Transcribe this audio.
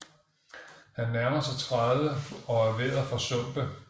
Han nærmer sig tredive og er ved at forsumpe